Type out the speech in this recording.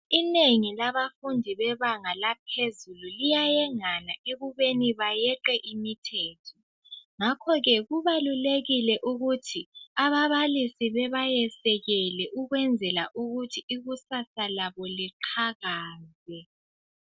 Inengi labafundi bebanga laphezulu liyayengana ekubeni bayeqe imithetho. Ngakhoke kubalulekile ukuthi ababalisi bebayesekele ukwenzela ukuthi ikusasa labo liphakame.